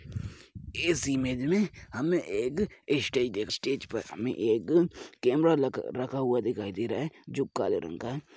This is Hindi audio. इस इमेज में हमें एक स्टेज स्टेज पर हमें एक कैमरा लगा रखा हुआ दिखाई दे रहा है जो काले रंग का है।